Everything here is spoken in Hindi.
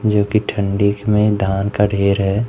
जोकि ठंडीख में धान का ढेर है।